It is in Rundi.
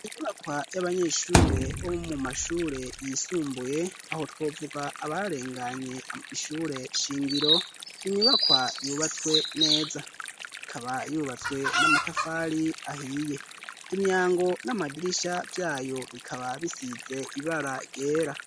Inyubakwa y'abanyeshure bo mu mashure yisumbuye aho twovuga abarenganye ishure shingiro, ni inyubakwa yubatswe neza. Ikaba yubatswe n'amatafari ahiye. Imyango n'amadirisha vyayo bikaba bisize ibara ryera.